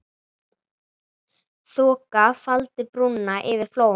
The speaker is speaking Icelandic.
Þoka faldi brúna yfir Flóann.